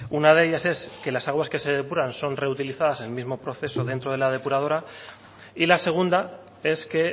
una de ellas es que las aguas que se depuran son reutilizadas en el mismo proceso dentro de la depuradora y la segunda es que